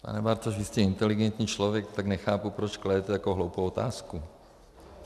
Pane Bartoš, vy jste inteligentní člověk, tak nechápu, proč kladete takovou hloupou otázku.